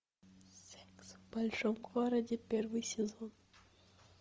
секс в большом городе первый сезон